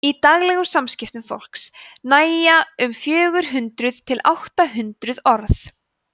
í daglegum samskiptum fólks nægja um fjögur hundruð til átta hundruð orð